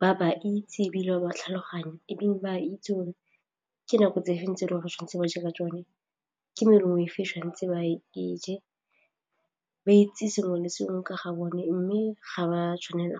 ba ba itse ebile ba ba tlhaloganyo ebile ba itse ke nako tse feng tse le go tshwanetse ba je ka tsone, ke merogo fa tshwanetse ba je ba itse sengwe le sengwe ka ga bone mme ga ba tshwanela .